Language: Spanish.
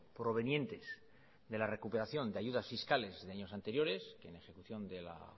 provenientes de la recuperación de ayudas fiscales de años anteriores en ejecución de la